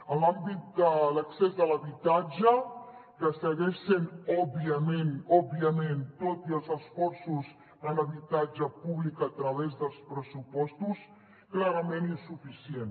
en l’àmbit de l’accés a l’habitatge que segueix sent òbviament òbviament tot i els esforços en habitatge públic a través dels pressupostos clarament insuficient